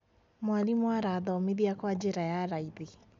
mwalimũ arathomithia kwa jĩra ya raithi